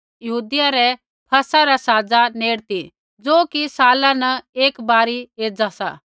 यहूदियै री फसह री साजा नेड़ ती ज़ो कि साला न एकी बार एज़ा सा